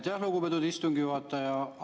Aitäh, lugupeetud istungi juhataja!